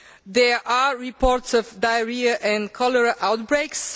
There are reports of diarrhoea and cholera outbreaks.